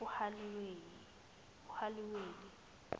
uhaliyeli